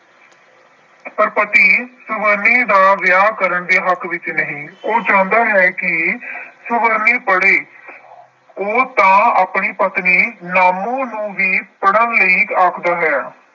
ਪਰ ਪਤੀ ਸੁਵਰਨੀ ਦਾ ਵਿਆਹ ਕਰਨ ਦੇ ਹੱਕ ਵਿੱਚ ਨਹੀਂ । ਉਹ ਚਾਹੁੰਦਾ ਹੈ ਕਿ ਸੁਵਰਨੀ ਪੜ੍ਹੇ। ਉਹ ਤਾਂ ਆਪਣੀ ਪਤਨੀ ਨਾਮੂ ਨੂੰ ਵੀ ਪੜ੍ਹਨ ਲਈ ਆਖਦਾ ਹੈ।